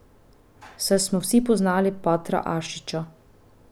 Saj smo vsi poznali patra Ašiča.